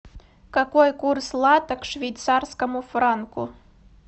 какой курс лата к швейцарскому франку